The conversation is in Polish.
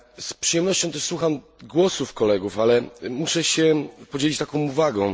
Z przyjemnością też słucham głosów kolegów, ale muszę się podzielić taką uwagą.